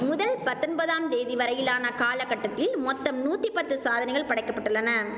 முதல் பத்தொம்பதாம் தேதி வரையிலான காலகட்டத்தில் மொத்தம் நூத்தி பத்து சாதனைகள் படைக்கப்பட்டுள்ளன